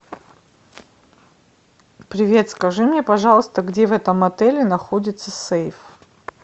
привет скажи мне пожалуйста где в этом отеле находится сейф